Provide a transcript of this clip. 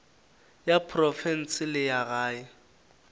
ya profense le ya gae